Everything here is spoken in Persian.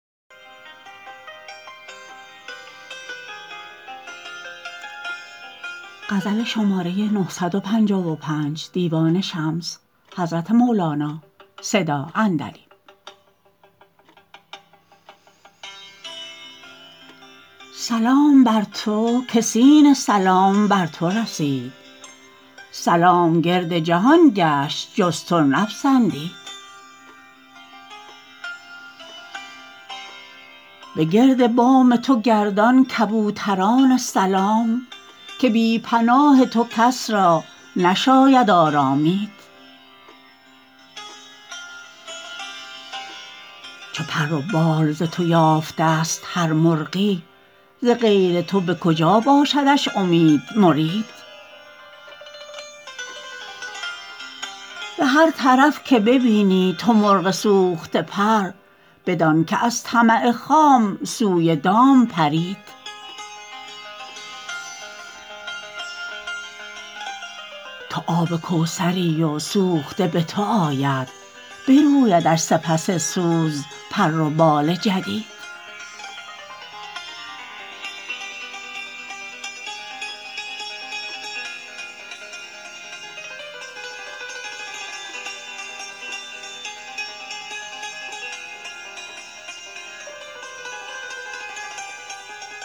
سلام بر تو که سین سلام بر تو رسید سلام گرد جهان گشت جز تو نپسندید بگرد بام تو گردان کبوتران سلام که بی پناه تو کس را نشاید آرامید چو پر و بال ز تو یافتست هر مرغی ز غیر تو به کجا باشدش امید مرید به هر طرف که ببینی تو مرغ سوخته پر بدان که از طمع خام سوی دام پرید تو آب کوثری و سوخته به تو آید برویدش سپس سوز پر و بال جدید